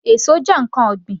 Èso jẹ́ ǹkan ọ̀gbìn